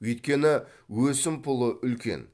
өйткені өсімпұлы үлкен